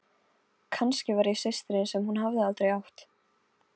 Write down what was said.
Kannski var ég systirin sem hún hafði aldrei átt.